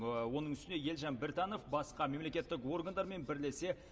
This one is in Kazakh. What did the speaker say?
оның үстіне елжан біртанов басқа мемлекеттік органдармен бірлесе